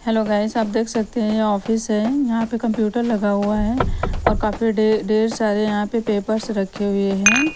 Hello guys आप देख सकते हैं ये ऑफिस है यहां पे कंप्यूटर लगा हुआ है और काफी ढे ढेर सारे यहां पे पेपर्स रखे हुए हैं।